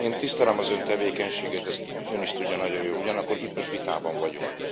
Én tisztelem az Ön tevékenységét, ezt Ön is tudja nagyon jól, ugyanakkor itt most vitában vagyunk.